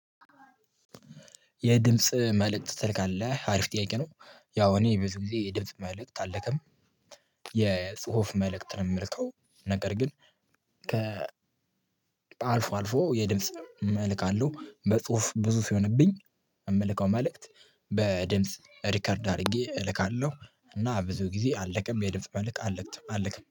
የድምጽ መልእክት ትልካለህ? አሪፍ ጥያቄ ነው ያው እኔ ብዙ ጊዜ ድምጽ መልእክት አልክም። የጽሁፍ መልእክት ነው የምልከው ነገር ግን ከ አልፎ አልፎ የድምጽ እልካለሁ። በጽሁፍ ብዙ ሲሆንብኝ እምልከው መልእክት በድምጽ ሪከርድ አድርጌ እልካለሁ እና ብዙ ጊዜ አልክም የድምጽ መልእክት አለምትም አልክም።